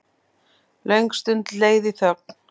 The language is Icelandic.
Löng stund leið í þögn.